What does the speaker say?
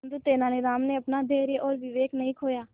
परंतु तेलानी राम ने अपना धैर्य और विवेक नहीं खोया